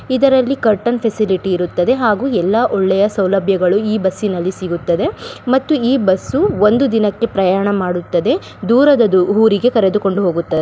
ಇದರಲ್ಲಿ curtain facility ಇರುತ್ತದೆ ಹಾಗು ಎಲ್ಲ ಒಳ್ಳೆಯ ಸೌಲಭ್ಯಗಳು ಈ ಬಸ್ಸಿನಲ್ಲಿ ಸಿಗುತ್ತದೆ ಮತ್ತು ಈ ಬಸ್ಸು ಒಂದು ದಿನಕ್ಕೆ ಪ್ರಯಾಣ ಮಾಡುತ್ತದೆ ದೂರದ ಊರಿಗೆ ಕರೆದುಕೊಂಡು ಹೋಗುತ್ತದೆ.